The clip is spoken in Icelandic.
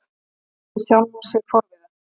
spurði hann sjálfan sig forviða.